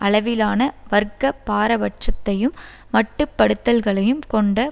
அளவிலான வர்க்க பாரபட்சத்தையும் மட்டுப்படுத்தல்களையும் கொண்ட